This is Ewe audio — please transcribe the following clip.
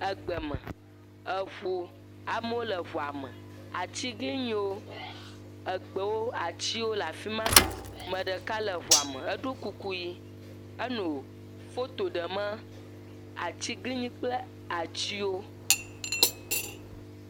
Egbeme. Eŋu. Amewo le ŋua me. Atiglinyiwo, egbewo. Atsiwo le fi ma. Me ɖeka le ŋua me. Eɖo kuku yi. Eno foto ɖeme atsiglinyi kple atsiwo.